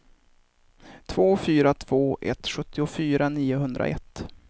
två fyra två ett sjuttiofyra niohundraett